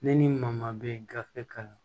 Ne ni maa maa bɛ gafe kan